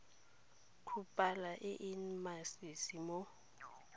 kgobalo e e masisi mo